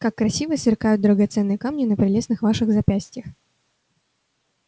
как красиво сверкают драгоценные камни на прелестных ваших запястьях